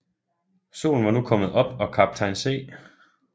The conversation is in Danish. Solen var nu kommet op og kaptajn C